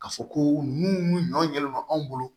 Ka fɔ ko mun ɲɔn yɛlɛma anw bolo